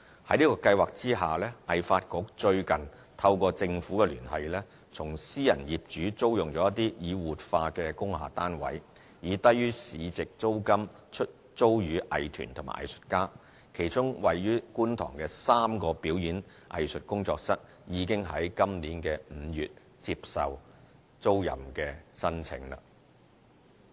在此計劃下，藝發局最近透過政府聯繫，從私人業主租用了一些已活化的工廈單位，以低於市值租金出租予藝團和藝術家，其中位於觀塘的3個表演藝術工作室，已於今年5月接受租賃申請。